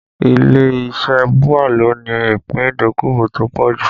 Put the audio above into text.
Ilé iṣẹ́ BUA ló ní ìpín ìdókòwò tó pọ̀ jù